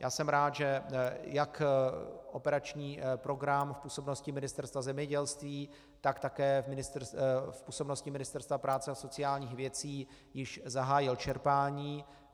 Já jsem rád, že jak operační program v působnosti Ministerstva zemědělství, tak také v působnosti Ministerstva práce a sociálních věcí již zahájil čerpání.